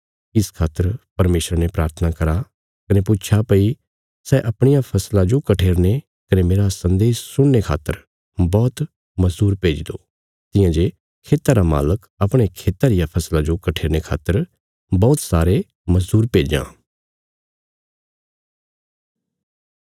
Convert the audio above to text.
इस खातर परमेशरा ने प्राथना करा कने पुच्छा भई सै अपणिया फसला जो कठेरने कने मेरा सन्देश सुनाणे खातर बौहत मजदूर भेज्जी दो तियां जे खेता रा मालक अपणे खेता रिया फसला जो कठेरने खातर बौहत सारे मजदूर भेज्जां